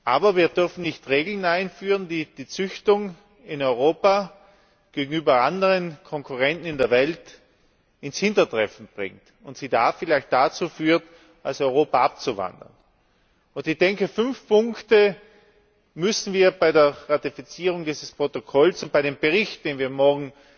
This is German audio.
Aber, wir dürfen nicht Regeln einführen, die die Züchtung in Europa gegenüber anderen Konkurrenten in der Welt ins Hintertreffen bringt und sie da vielleicht dazubewegt, aus Europa abzuwandern. Ich denke, fünf Punkte müssen wir bei der Ratifizierung dieses Protokolls und bei dem Bericht, den wir morgen